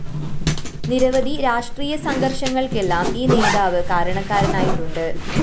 നിരവധി രാഷ്ട്രീയ സംഘര്‍ഷങ്ങള്‍ക്കെല്ലാം ഈ നേതാവ് കാരണക്കാരനായിട്ടുണ്ട്